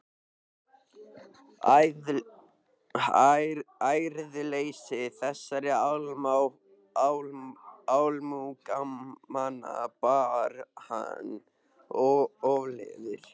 Æðruleysi þessara almúgamanna bar hann ofurliði.